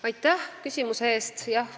Aitäh küsimuse eest!